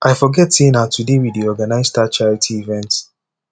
i forget say na today we dey organize dat charity event